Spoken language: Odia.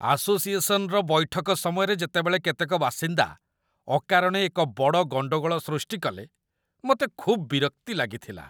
ଆସୋସିଏସନ୍‌ର ବୈଠକ ସମୟରେ ଯେତେବେଳେ କେତେକ ବାସିନ୍ଦା ଅକାରଣେ ଏକ ବଡ଼ ଗଣ୍ଡଗୋଳ ସୃଷ୍ଟି କଲେ, ମୋତେ ଖୁବ୍ ବିରକ୍ତି ଲାଗିଥିଲା।